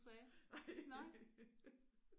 Nej